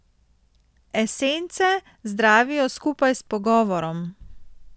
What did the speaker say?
Esence zdravijo skupaj s pogovorom.